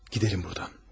Gedelim buradan.